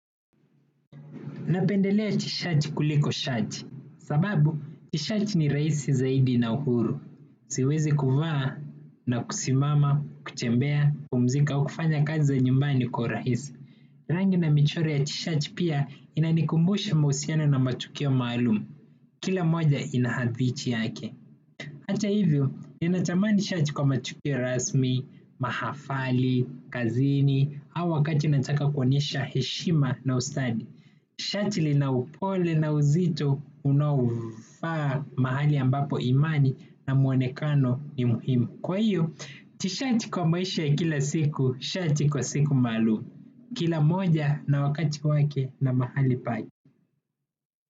Napendelea t-shirt kuliko shati. Sababu, t-shirt ni rahisi zaidi na huru. Siwezi kuvaa na kusimama, kutembea, kupumzika, kufanya kazi za nyumbani kwa urahisi. Rangi na michoro ya t-shirt pia inanikumbusha mahusiano na matukio maalum. Kila moja ina hadithi yake. Hata hivyo, ninatamani shati kwa matukio rasmi, mahafali, kazini, au wakati nataka kuonyesha heshima na ustadi. Shati lina upole na uzito unaofaa mahali ambapo imani na muonekano ni muhimu. Kwa hiyo, tishati kwa maisha ya kila siku, shati kwa siku maalum. Kila moja na wakati wake na mahali pake.